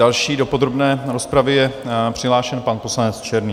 Další do podrobné rozpravy je přihlášen pan poslanec Černý.